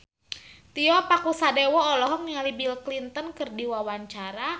Tio Pakusadewo olohok ningali Bill Clinton keur diwawancara